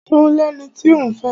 Ṣo lẹni tí òún fẹ́?